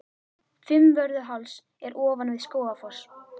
Fimmvörðuháls er ofan við Skógafoss.